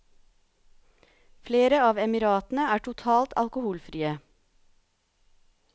Flere av emiratene er totalt alkoholfrie.